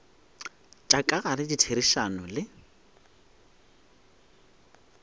tša ka gare ditherišano le